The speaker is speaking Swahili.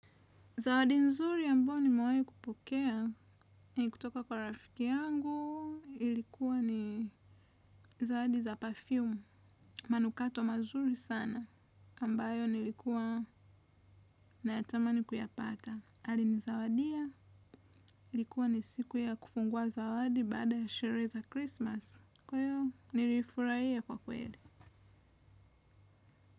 Zawadi nzuri ambao nimewahi kupokea, ni kutoka kwa rafiki yangu, ilikuwa ni zawadi za perfume, manukato mazuri sana, ambayo nilikuwa na yatamani kuyapata. Alinizawadia, ilikuwa ni siku ya kufungua zawadi baada ya sherehe za Christmas, kwa hivyo nilifurahia kwa kweli.